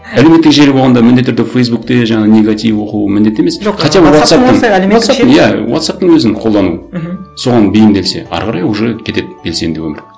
әлеуметтік желі болғанда міндетті түрде фейсбукте жаңағы негатив оқуы міндетті емес жоқ иә вотсапптың өзін қолдану мхм соған бейімделсе әрі қарай уже кетеді белсенді өмір